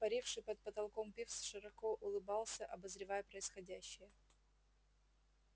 паривший под потолком пивз широко улыбался обозревая происходящее